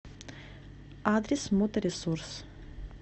адрес моторесурс